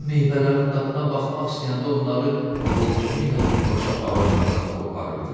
O meyvələrin dadına baxmaq istəyəndə onları xortumu ilə birbaşa ağaclardan qopardırdı.